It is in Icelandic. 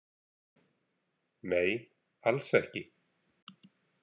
Nei, alls ekki.